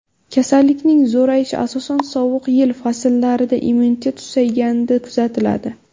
Kasallikning zo‘rayishi asosan sovuq yil fasllarida immunitet susayganida kuzatiladi.